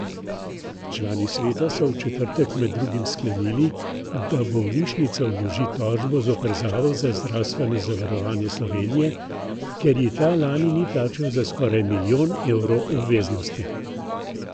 Člani sveta so v četrtek med drugim sklenili, da bolnišnica vloži tožbo zoper Zavod za zdravstveno zavarovanje Slovenije, ker ji ta lani ni plačal za skoraj milijon evrov obveznosti.